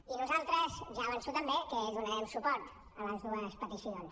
i nosaltres ja ho avanço també donarem suport a les dues peticions